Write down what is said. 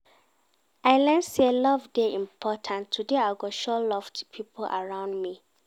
I learn sey love dey important, today I go show love to pipo around me.